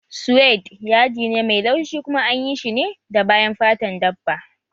Sued yadi ne mai laushi kuma anyi shi ne da bayan fatan dabba